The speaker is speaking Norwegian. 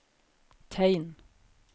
tegn